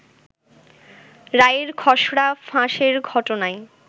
রায়ের খসড়া ফাঁসের ঘটনায়